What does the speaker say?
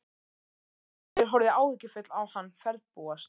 Steingerður horfði áhyggjufull á hann ferðbúast.